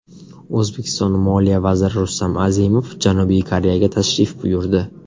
O‘zbekiston moliya vaziri Rustam Azimov Janubiy Koreyaga tashrif buyurdi.